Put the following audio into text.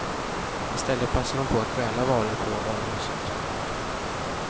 I stället passade de på att stjäla varor på varuhuset.